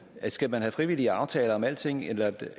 skal man have frivillige aftaler om alting eller